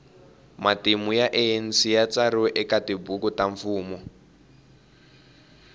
matimu ya anc yatsariwe ekatibhuku tamfumo